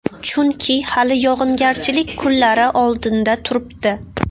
Chunki hali yog‘ingarchilik kunlari oldinda turibdi.